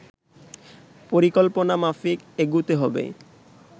পরিকল্পনা মাফিক এগুতে হবে